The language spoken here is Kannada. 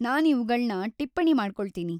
ನಾನ್‌ ಇವುಗಳ್ನ ಟಿಪ್ಪಣಿ ಮಾಡ್ಕೊಳ್ತೀನಿ.